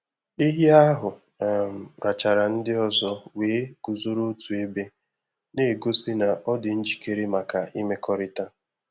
Ehi ahụ um rachara ndị ọzọ wee guzoro otu ebe, na-egosi na ọ dị njikere maka imekọrịta.